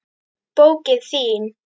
Bókin þín,